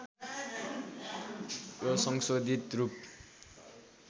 यो संशोधित रूप